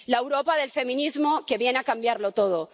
La Europa del feminismo que viene a cambiarlo todo